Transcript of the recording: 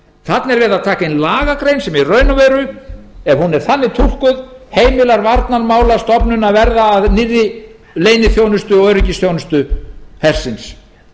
þarna er verið að taka inn lagagrein sem í raun og veru ef hún er þannig túlkuð heimilar varnarmálastofnun að verða að nýrri leyniþjónustu og öryggisþjónustu hersins